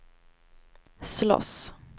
slåss